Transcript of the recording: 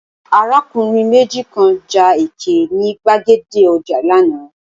Arákùnrin méjì kan ja ẹkẹ ní gbàgede ọjà lánàá.